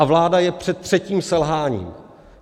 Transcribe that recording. A vláda je před třetím selháním.